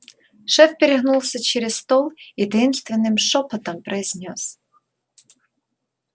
шеф перегнулся через стол и таинственным шёпотом произнёс